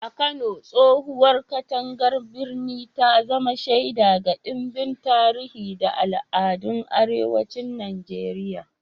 A Kano, tsohowar katangar birnin ta zama shaida ga ɗimbin tarihi da al'adun arewacin Najeriya.